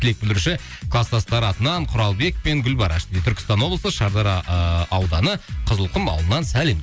тілек білдіруші кластастары атынан құралбек пен гүлбараш түркістан облысы шардара ы ауданы қызылқұм ауылынан сәлем